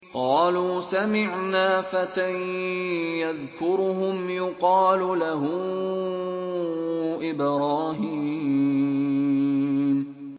قَالُوا سَمِعْنَا فَتًى يَذْكُرُهُمْ يُقَالُ لَهُ إِبْرَاهِيمُ